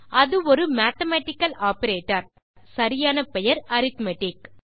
அது ஒரு mathematical operator சரியான பெயர் அரித்மெட்டிக்